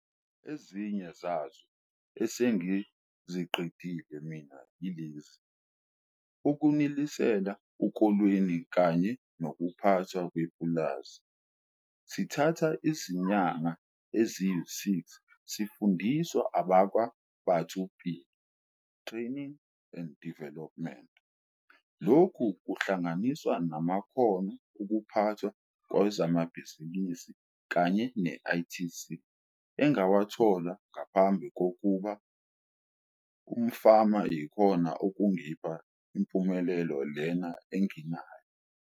Ezinye zazo esengiziqedile mina yilazi- Ukunisela ukolweni kanye nokuPhathwa kwePulazi, sithatha izinyanga eziyi-6 sifundiswa abakwaBatho Pele Training and Development. Lokhu kuhlanganiswa namakhono okuPhathwa kwezamabhizinisi kanye ne-ITC engawathola ngaphambi kokuba umfama yikhona okungipha impumelelo lena enginayo.